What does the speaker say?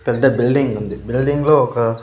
పెద్ద బిల్డింగ్ ఉంది బిల్డింగ్ లో ఒక.